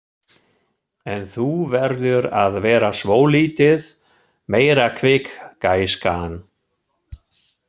En þú verður að vera svolítið meira kvikk, gæskan.